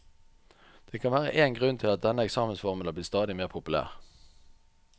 Det kan være én grunn til at denne eksamensformen er blitt stadig mer populær.